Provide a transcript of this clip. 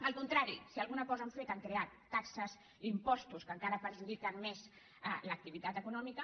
al contrari si alguna cosa han fet han creat taxes impostos que encara perjudiquen més l’activitat econòmica